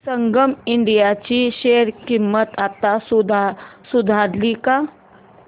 संगम India ची share किंमत आता सुधारली का